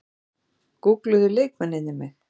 Gúggluðu leikmennirnir mig?